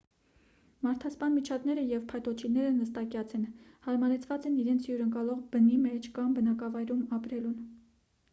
մարդասպան միջատները և փայտոջիլները նստակյաց են հարմարեցված են իրենց հյուրընկալողի բնի մեջ կամ բնակավայրում ապրելուն